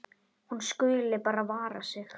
Hún skuli bara vara sig.